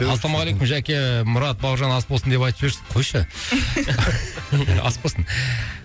ассалалаумағалейкум жәке мұрат бауыржан ас болсын деп айтып жіберші қойшы ас болсын